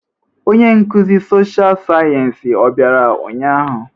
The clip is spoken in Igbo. Onye nkuzi sọsha sayensị ọ bịara ụnyahụ?